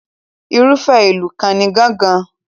Irúfẹ́ ìlù kan ni gángan.